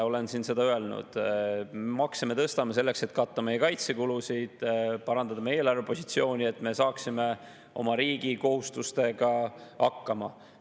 Olen siin seda öelnud, et makse me tõstame selleks, et katta meie kaitsekulusid, parandada eelarvepositsiooni, et me saaksime oma riigi kohustustega hakkama.